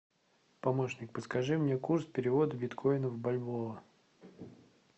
помощник подскажи мне курс перевода биткоина в бальбоа